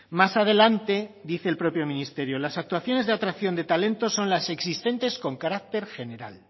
más adelante dice el propio ministerio las actuaciones de atracción de talentos son las existentes con carácter general